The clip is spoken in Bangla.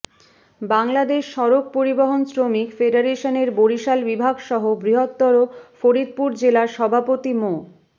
বাংলাদেশ সড়ক পরিবহন শ্রমিক ফেডারেশনের বরিশাল বিভাগসহ বৃহত্তর ফরিদপুর জেলার সভাপতি মো